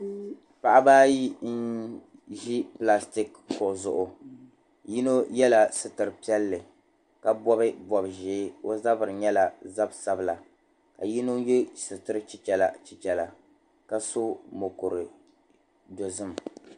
Paɣaba ayi n ʒi "plastic" kuɣu zuɣu yino yɛla sitir'piɛlli ka bɔbi bɔbi ʒee o zabiri nyɛla zab'sabila ka yino yɛ sitir'chichɛra chichɛra ka so moku dozim